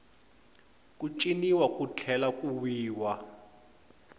ku ciniwa ku tlhela ku wiwa